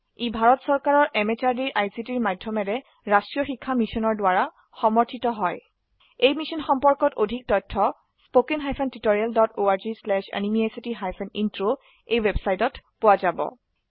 ই ভাৰত চৰকাৰৰ MHRDৰ ICTৰ মাধয়মেৰে ৰাস্ত্ৰীয় শিক্ষা মিছনৰ দ্ৱাৰা সমৰ্থিত হয় এই মিশ্যন সম্পৰ্কত অধিক তথ্য spoken hyphen tutorial dot org slash এনএমইআইচিত হাইফেন ইন্ট্ৰ ৱেবচাইটত পোৱা যাব